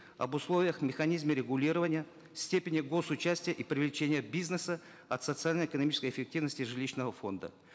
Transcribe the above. об условиях механизме регулирования степени гос участия и привлечения бизнеса от социально экономической эффективности жилищного фонда